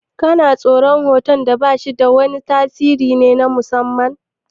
Kana tsoran hoton bashi da wani tasiri na musamman?